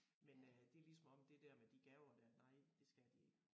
Men øh det lige som om det der med de gaver der nej det skal de ikke